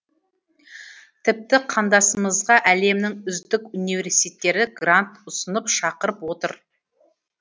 тіпті қандасымызға әлемнің үздік университеттері грант ұсынып шақырып отыр